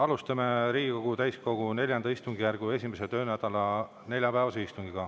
Alustame Riigikogu täiskogu IV istungjärgu 1. töönädala neljapäevast istungit.